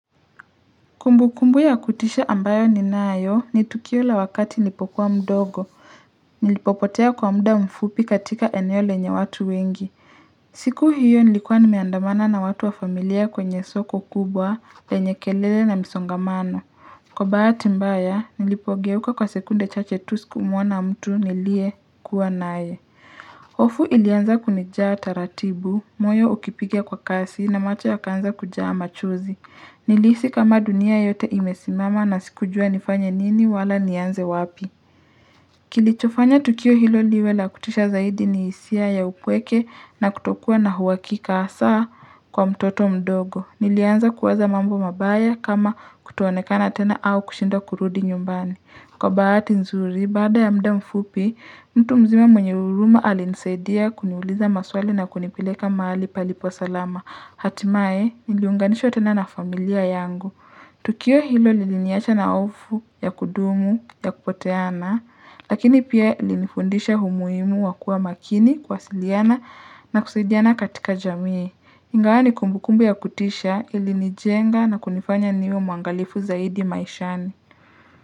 Kumbukumbu ya kutisha ambayo ni nayo ni tukio la wakati nilipokuwa mdogo. Nilipopotea kwa muda mfupi katika eneo lenye watu wengi. Siku hiyo nilikuwa nimeandamana na watu wa familia kwenye soko kubwa lenye kelele na msongamano. Kwa bahati mbaya nilipogeuka kwa sekunde cha chetusi kumuona mtu nilie kuwa naye. hOfu ilianza kunijaa taratibu, moyo ukipigia kwa kasi na macho ya kaanza kujaama chuzi. Nilihisi kama dunia yote imesimama na sikujua nifanye nini wala nianze wapi. Kilichofanya tukio hilo liwe la kutisha zaidi ni hisia ya upweke na kutokuwa na uhakika hasa kwa mtoto mdogo. Nilianza kuwaza mambo mabaya kama kutoonekana tena au kushindwa kurudi nyumbani. Kwa bahati nzuri, baada ya muda mfupi, mtu mzima mwenye huruma alinisaidia kuniuliza maswali na kunipileka mahali palipo salama. Hatimaye niliunganishwa tena na familia yangu. Tukio hilo liliniacha na hofu ya kudumu ya kupoteana, lakini pia ili nifundisha umuhimu wakua makini kuwasiliana na kusaidiana katika jamii. Ingawani kumbukumbu ya kutisha ili nijenga na kunifanya niwe mwangalifu zaidi maishani.